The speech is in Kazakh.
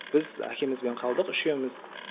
біз әкемізбен қалдық үшеуміз